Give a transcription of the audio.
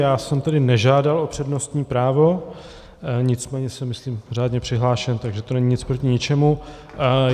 Já jsem tedy nežádal o přednostní právo, nicméně jsem myslím řádně přihlášen, takže to není nic proti ničemu.